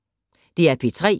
DR P3